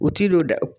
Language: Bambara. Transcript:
U ti don da